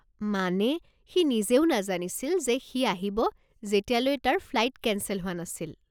মানে, সি নিজেও নাজানিছিল যে সি আহিব যেতিয়ালৈ তাৰ ফ্লাইট কেঞ্চেল হোৱা নাছিল।